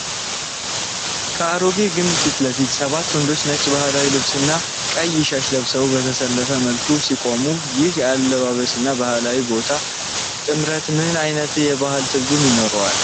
ከአሮጌ ግንብ ፊት ለፊት ሰባት ወንዶች ነጭ ባህላዊ ልብስና ቀይ ሻሽ ለብሰው በተሰለፈ መልኩ ሲቆሙ፣ ይህ የአልባሳትና ታሪካዊ ቦታ ጥምረት ምን ዓይነት የባህል ትርጉም ይኖረዋል?